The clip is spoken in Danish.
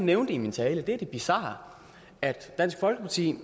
nævnte i min tale er det bizarre dansk folkeparti